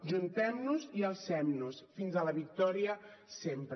ajuntem nos i alcem nos fins a la victòria sempre